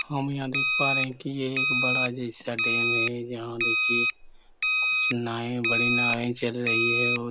हम यहाँ देख पा रहे है की ये एक बड़ा जैसा डैम है जहाँ देखिए कुछ नाये बड़े नाये चल रही है और --